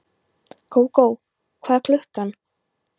Gógó, hvað er klukkan?